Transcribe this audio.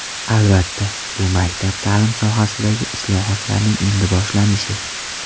Albatta, bu maktab ta’limi sohasidagi islohotlarning endi boshlanishi.